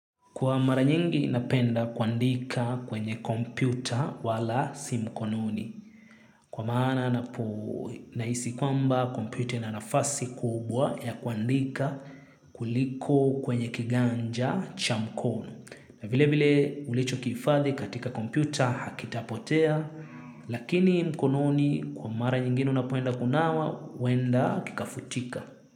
Kwa mara nyingi napenda kuandika kwenye kompyuta wala si mkononi. Kwa maana nahisi kwamba kompyuta ina nafasi kubwa ya kuandika kuliko kwenye kiganja cha mkono. Na vile vile ulichokihifadhi katika kompyuta hakitapotea. Lakini mkononi kwa mara nyingine unapoenda kunawa huenda kikafutika.